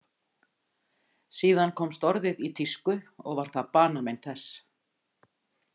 Síðan komst orðið í tísku og var það banamein þess.